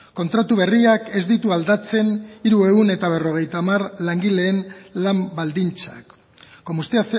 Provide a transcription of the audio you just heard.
kontratu berriak ez ditu aldatzen hirurehun eta berrogeita hamar langileen lan baldintzak como usted